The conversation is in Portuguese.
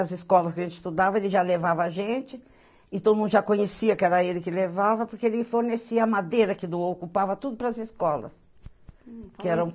As escolas que a gente estudava, ele já levava a gente, e todo mundo já conhecia que era ele que levava, porque ele fornecia a madeira que doou, ocupava tudo para as escolas. Que eram